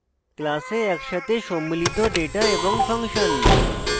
class একসাথে সম্মিলিত data এবং ফাংশন